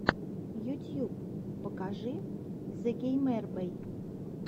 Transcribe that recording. ютьюб покажи зэгеймербэй